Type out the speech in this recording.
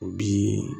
O bi